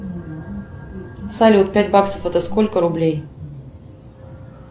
салют пять баксов это сколько рублей